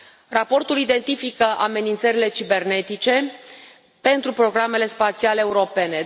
Raportul identifică amenințările cibernetice pentru programele spațiale europene.